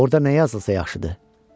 Orda nə yazılsa yaxşıdır?